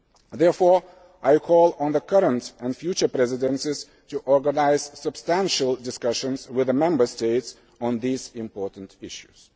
Therefore, I call on the current and future Presidencies to organise extensive discussions with the Member States on these important issues.